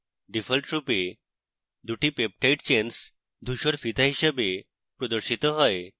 ডিফল্টরূপে দুটি peptide chains ধূসর ফিতা হিসাবে প্রদর্শিত হয়